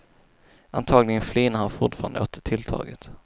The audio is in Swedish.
Antaligen flinar han fortfarande åt tilltaget.